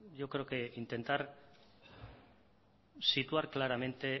creo que hay que situar claramente el